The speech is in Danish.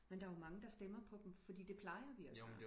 men der er jo mange der stemmer på dem fordi det plejer vi at gøre